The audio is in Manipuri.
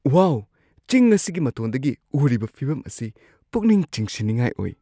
ꯋꯥꯎ! ꯆꯤꯡ ꯑꯁꯤꯒꯤ ꯃꯇꯣꯟꯗꯒꯤ ꯎꯔꯤꯕ ꯐꯤꯚꯝ ꯑꯁꯤ ꯄꯨꯛꯅꯤꯡ ꯆꯤꯡꯁꯤꯟꯅꯤꯡꯉꯥꯏ ꯑꯣꯏ!